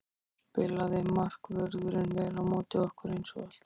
Spilaði markvörðurinn vel á móti okkur eins og alltaf?